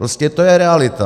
Prostě to je realita.